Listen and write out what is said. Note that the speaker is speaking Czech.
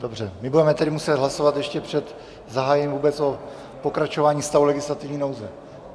Dobře, my budeme tedy muset hlasovat ještě před zahájením vůbec o pokračování stavu legislativní nouze.